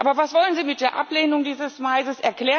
Aber was wollen Sie mit der Ablehnung dieses Maises?